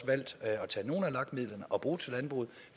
valgt at tage nogle af lag midlerne og bruge dem til landbruget